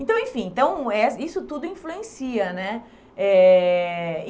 Então, enfim, então eh isso tudo influencia, né? Eh